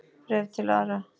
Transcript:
Bréf til afa.